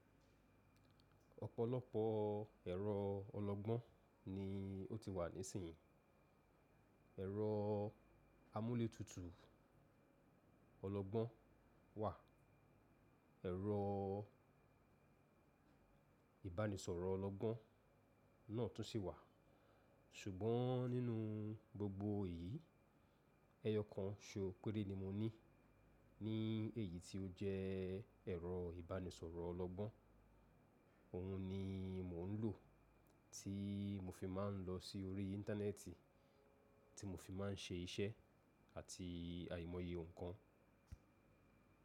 Ọ̀pọ̀lọpọ̀ ẹ̀rọ ọlọgbọ́n ni ó ti wà nísìnyí. Ẹ̀rọ amúlétutù ọlọgbọ́n wà, ẹ̀rọ ibanisọrọ ọlọgbọ́n náà tún sì wà. Ṣùgbọ́n nínú gbogbo èyí, ẹyọ kan ṣo péré ni mo ní. Ní èyí tí ó jẹ́ ẹ̀rọ ìbánisọ̀rọ̀ ọlọgbọ́n. Òun ni mò ń lò tí mo fi máa ń lọ sí orí íńtánẹ́ẹ̀tì, tí mo fi máa ń ṣe iṣẹ́ àti àìmọye nǹkan.